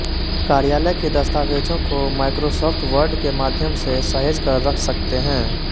कार्यालय के दस्तावेजों को माइक्रोसॉफ्ट वर्ड के माध्यम से सहेज कर रख सकते हैं